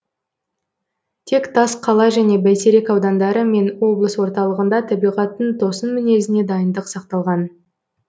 тек тасқала және бәйтерек аудандары мен облыс орталығында табиғаттың тосын мінезіне дайындық сақталған